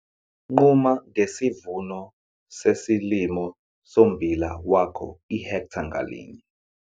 Nquma ngesivuno sesilimo sommbila wakho ihektha ngalinye.